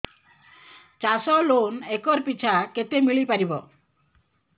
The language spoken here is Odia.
ଚାଷ ଲୋନ୍ ଏକର୍ ପିଛା କେତେ ମିଳି ପାରିବ